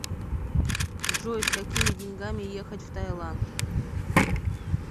джой с какими деньгами ехать в таиланд